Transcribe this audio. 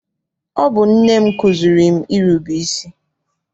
Ọ bụ nne m kụziere m irube isi.